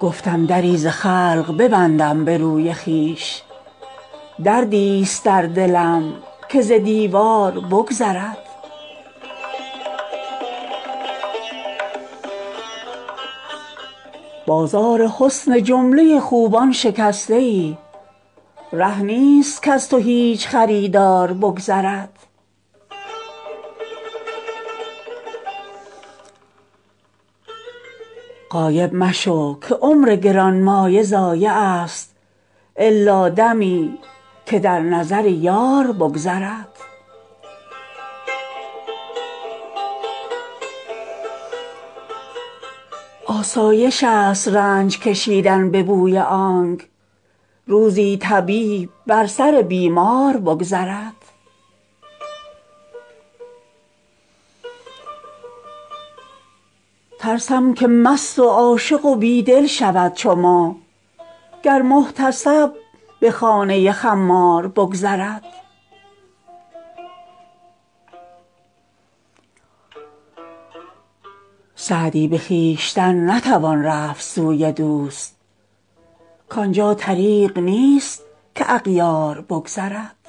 گفتم دری ز خلق ببندم به روی خویش دردیست در دلم که ز دیوار بگذرد بازار حسن جمله خوبان شکسته ای ره نیست کز تو هیچ خریدار بگذرد غایب مشو که عمر گرانمایه ضایعست الا دمی که در نظر یار بگذرد آسایشست رنج کشیدن به بوی آنک روزی طبیب بر سر بیمار بگذرد ترسم که مست و عاشق و بی دل شود چو ما گر محتسب به خانه خمار بگذرد سعدی به خویشتن نتوان رفت سوی دوست کان جا طریق نیست که اغیار بگذرد